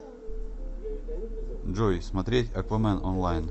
джой смотреть аквамен онлайн